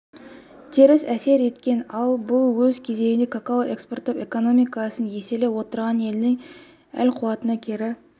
теріс әсер еткен ал бұл өз кезегінде какао экспорттап экономикасын еселеп отырған елдің әл-ауқатына кері